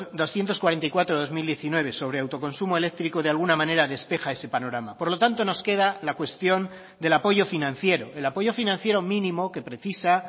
doscientos cuarenta y cuatro barra dos mil diecinueve sobre autoconsumo eléctrico de alguna manera despeja ese panorama por lo tanto nos queda la cuestión del apoyo financiero el apoyo financiero mínimo que precisa